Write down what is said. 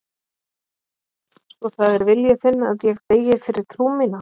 Svo það er vilji þinn að ég deyi fyrir trú mína.